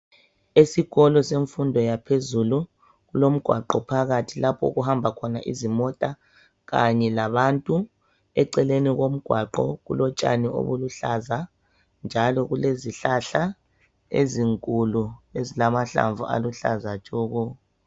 Esikolo semfundo yaphezulu kulomgwaqo phakathi lapho okuhamba khona izimota, kanye labantu eceleni komgwaqo okulotshani obuluhlaza njalo kulezihlahla ezinkulu ezilamhlamvu aluhlaza tshoko